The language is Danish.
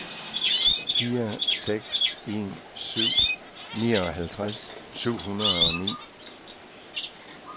fire seks en syv nioghalvtreds syv hundrede og ni